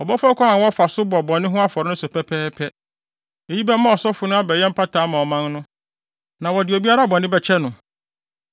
Ɔbɛfa ɔkwan a wɔfa so bɔ bɔne ho afɔre no so pɛpɛɛpɛ. Eyi bɛma ɔsɔfo no abɛyɛ mpata ama ɔman no, na wɔde obiara bɔne bɛkyɛ no.